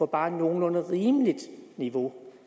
bare et nogenlunde rimeligt niveau